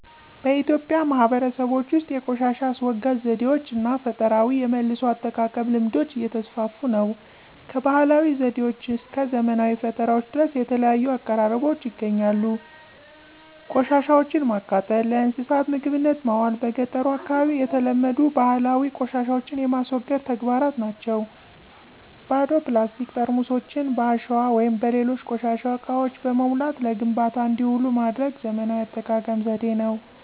በኢትዮጵያ ማህበረሰቦች ውስጥ የቆሻሻ አስወጋጅ ዘዴዎች እና ፈጠራዊ የመልሶ አጠቃቀም ልምዶች እየተስፋፉ ነው። ከባህላዊ ዘዴዎች እስከ ዘመናዊ ፈጠራዎች ድረስ የተለያዩ አቀራረቦች ይገኛሉ። ቆሻሻወችን ማቃጠል፣ ለእንስሳት ምግብነት ማዋል በ ገጠሩ አካባቢ የተለመዱ ባህላዊ ቆሻሻን የማስወገድ ተግባራት ናቸው። ባዶ ፕላስቲክ ጠርሙሶችን በአሸዋ ወይም በሌሎች ቆሻሻ እቃዎች በመሙላት ለግንባታ እንዲውሉ ማድረግ ዘመናዊ የአጠቃቀም ዘዴ ነው።